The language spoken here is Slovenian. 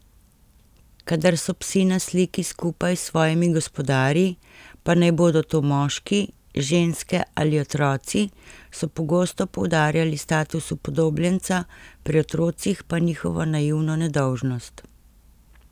Kadar so psi na sliki skupaj s svojimi gospodarji, pa naj bodo to moški, ženske ali otroci, so pogosto poudarjali status upodobljenca, pri otrocih pa njihovo naivno nedolžnost.